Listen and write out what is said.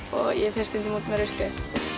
og ég fer stundum út með ruslið